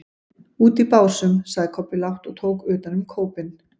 Úti í Básum, sagði Kobbi lágt og tók utan um kópinn.